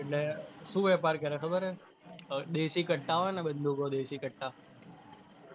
એટલે શું વેપાર કરે ખબર હે, દેશી કટ્ટા હોઇ ને બંદુકો, દેશી કટ્ટા